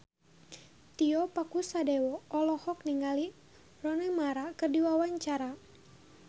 Tio Pakusadewo olohok ningali Rooney Mara keur diwawancara